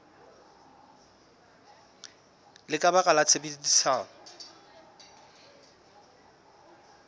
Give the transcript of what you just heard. le ka baka la tshebedisano